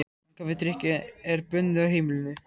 En kaffidrykkja er bönnuð á heimilinu.